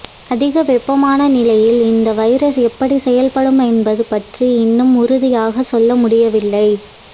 அதிக வெப்பமான நிலையில் இந்த வைரஸ் எப்படி செயல்படும் என்பது பற்றி இன்னும் உறுதியாக சொல்ல முடியவில்லை